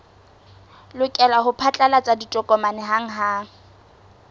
lokela ho phatlalatsa ditokomane hanghang